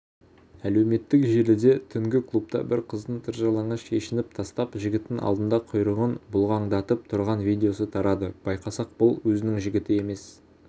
әлеуметтік желіде түнгі клубта бір қыздың тыржалаңаш шешініп тастап жігіттің алдында құйрығын бұлғаңдатып тұрған видеосы тарады байқасақ бұл өзінің жігіті емес